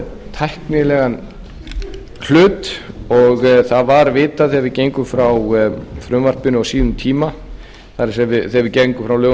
tæknilegan hlut og það var vitað er við gengum frá frumvarpinu á sínum tíma það er þegar við gengum frá lögunum um